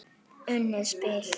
Unnið spil.